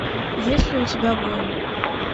есть ли у тебя воин